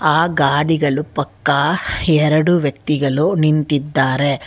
ಆ ಗಾಡಿಗಳು ಪಕ್ಕ ಎರಡು ವ್ಯಕ್ತಿಗಳು ನಿಂತಿದ್ದಾರೆ.